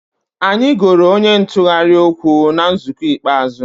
Anyị goro onye ntụgharị okwu na nzukọ ikpeazụ